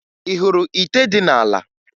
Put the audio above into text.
Ị hụrụ ite dị n'ala?